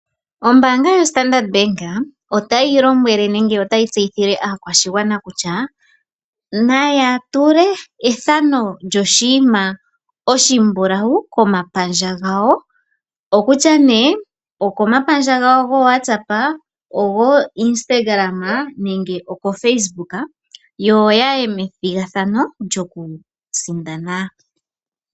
Ombaanga yoStandard Bank otayi lombwele nenge otayi tseyithile aakwashigwana kutya; naya tule ethano lyoshinima oshimbulawu komapandja gawo, okutya nee okomapandja gawo goowatsapa, ogooinistagalama nenge okofacebooka yo ya ye methigathano lyokusindana.